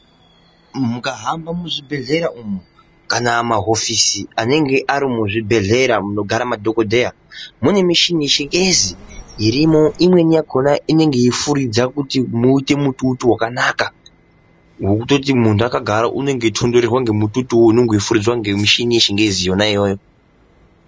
Mukahamba muzvibhedhlera umu kana maofisi anenge ari muzvibhedhlera munogara madhokodheya mune mushini shingezi irimo imweni yakhona inenge yeifuridza kuti muite mututu wakanaka wekutoti muntu akagara unenge eitonhorerwa ngemututu unenge weifuridzwa ngemushina yechingezi yona iyoyo .